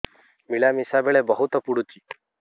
ମିଳାମିଶା ବେଳେ ବହୁତ ପୁଡୁଚି